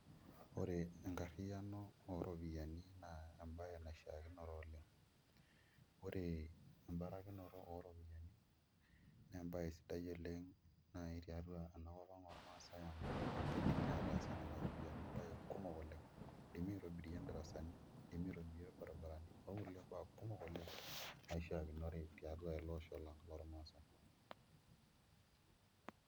Ore enkarriyiano ooropiyiani naa embaye naishiakinore oleng' ore embarakinoto ooropiyiani naa embaye sidai oleng' naai tiatua enakop ang' ormaasai amu kidimi aataasie nena ropiyiani imbaa kumok oleng' idimi aitobirie indarasani, idimi aitobirie irbaribarani okulie baa kumok oleng' naishiakinore tiatua ele osho lang' lormaasai.